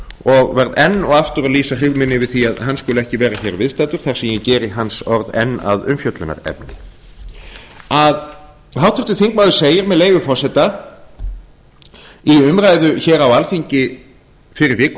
og verð enn og aftur að lýsa yfir hryggð minni yfir því að hann skuli ekki vera hér viðstaddur þar sem ég geri hans orð enn að umfjöllunarefni háttvirtur þingmaður segir með leyfi forseta í umræðu hér á alþingi fyrir viku